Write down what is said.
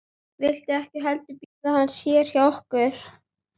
Viltu ekki heldur bíða hans hérna hjá okkur?